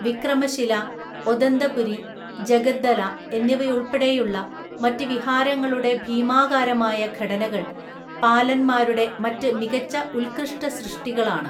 വിക്രമശില, ഒദന്തപുരി, ജഗദ്ദല എന്നിവയുൾപ്പെടെയുള്ള മറ്റ് വിഹാരങ്ങളുടെ ഭീമാകാരമായ ഘടനകൾ പാലന്മാരുടെ മറ്റ് മികച്ച ഉത്കൃഷ്ടസൃഷ്ടികളാണ്.